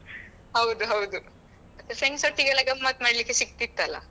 ಹೌದು ಹೌದು ಮತ್ತೆ friends ಒಟ್ಟಿಗೆ ಎಲ್ಲ ಗಮ್ಮತ್ ಮಾಡ್ಲಿಕ್ಕೆ ಸಿಗ್ತಿತ್ತಲ್ಲಾ.